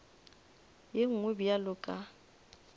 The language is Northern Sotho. ye nngwe bjalo ka ge